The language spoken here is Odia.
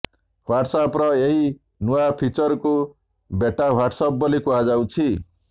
ହ୍ବାଟ୍ସଆପ୍ର ଏହି ନୂଆ ଫିଚର୍କୁ ବେଟା ହ୍ବାଟ୍ସଆପ୍ ବୋଲି କୁହାଯାଉଛି